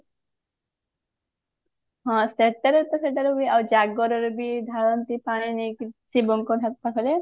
ହଁ ସେଟା ରେ ତ ସେଟା ରେ ବି ଆଉ ଜାଗର ଯଦି ଢାଳନ୍ତି ପାଣି ନେଇକି ଶିବଙ୍କ ପାଖରେ